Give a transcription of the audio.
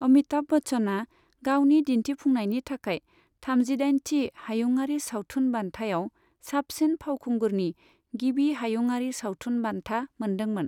अमिताभ बच्चनआ गावनि दिन्थिफुंनायनि थाखाय थामजिदाइनथि हायुंआरि सावथुन बान्थायाव साबसिन फावखुंगुरनि गिबि हायुंआरि सावथुन बान्था मोनदोंमोन।